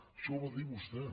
això ho va dir vostè